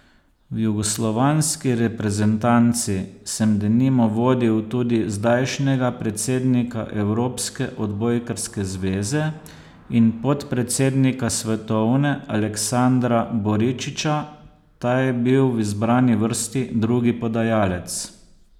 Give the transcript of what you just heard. V jugoslovanski reprezentanci sem denimo vodil tudi zdajšnjega predsednika evropske odbojkarske zveze in podpredsednika svetovne Aleksandra Boričića, ta je bil v izbrani vrsti drugi podajalec.